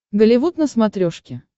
голливуд на смотрешке